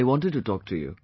I wanted to talk to you